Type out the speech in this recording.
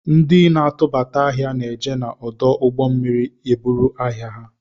Ndi na-atụbata ahịa na-eje na ọdụ ụgbọ mmiri eburu ahịa